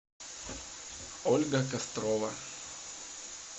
ольга кострова